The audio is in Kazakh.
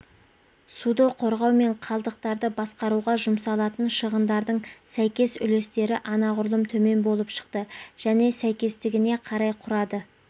суды қорғау мен қалдықтарды басқаруға жұмсалатын шығындардың сәйкес үлестері анағұрлым төмен болып шықты және сәйкестігіне қарай құрады